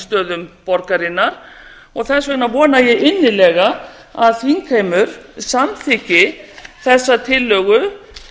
kampavínsstöðum borgarinnar og þess vegna vona ég innilega að þingheimur samþykki þessa tillögu